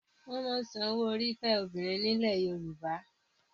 Wọ́n máa ń san owó orí fẹ́ obìnrin nílẹ̀ Yorùbá.